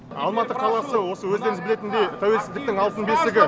алматы қаласы осы өздеріңіз білетіндей тәуелсіздіктің алтын бесігі